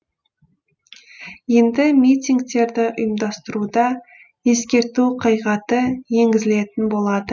енді митингтерді ұйымдастыруда ескерту қағидаты енгізілетін болады